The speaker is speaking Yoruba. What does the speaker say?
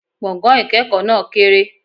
Gbọ̀gán-ìkẹ́kọ náà kéré